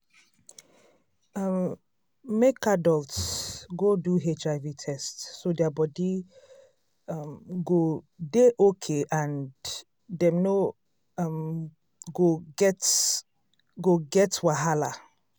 um make adults go do hiv test so their body um go dey okay and dem no um go get go get wahala